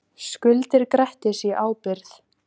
Skuldir Grettis í ábyrgð